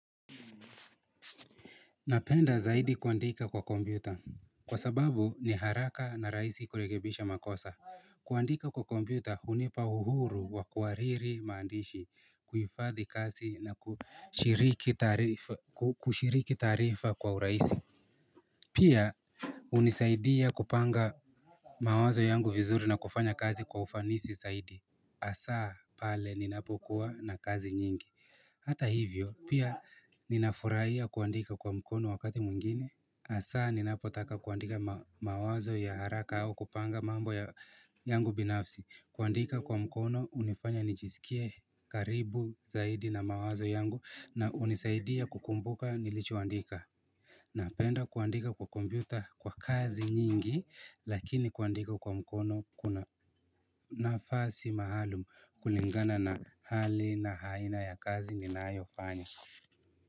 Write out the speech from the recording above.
Napenda zaidi kuandika kwa kompyuta kwa sababu ni haraka na rahisi kurekebisha makosa kuandika kwa kompyuta hunipa uhuru wa kuhariri maandishi, kuifadhi kazi na kushiriki taarifa kwa urahisi Pia hunisaidia kupanga mawazo yangu vizuri na kufanya kazi kwa ufanisi zaidi hasa pale ninapokuwa na kazi nyingi Hata hivyo, pia ninafurahia kuandika kwa mkono wakati mwingine hasa ninapotaka kuandika mawazo ya haraka au kupanga mambo ya yangu binafsi. Kuandika kwa mkono hunifanya nijisikie karibu zaidi na mawazo yangu na hunisaidia kukumbuka nilichoandika Napenda kuandika kwa kompyuta kwa kazi nyingi lakini kuandika kwa mkono kuna nafasi maalum kulingana na hali na aina ya kazi ninayofanya.